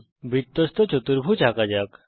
একটি বৃত্তস্থ চতুর্ভুজ আঁকা যাক